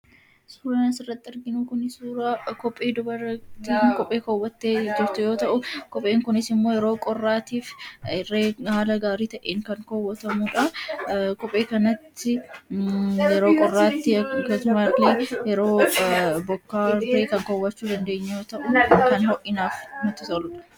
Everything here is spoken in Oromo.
Suuraan asirratti arginu Kun suuraa kophee dubaraa isheen kophee keewwattee yoo ta'u, kopheen kunis immoo yeroo qorraatiif haala gaarii ta'een kan keewwatamudha. Kophee kanatti yeroo qorraatti akkasumas yeroo roobaa fi bokkaa kaawwachuu dandeenyu yoo ta'u kan ho'inaaf nutti toludha.